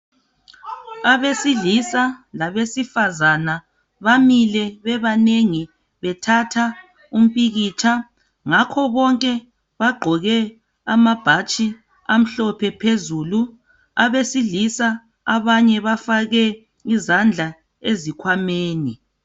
Abesilisa labesifazana bamile bebanengi bethatha umpikitsha. Ngakho bonke bagqoke amabhatshi amhlophe phezulu. Abesilisa abanye bafake izandla ezikhwameni.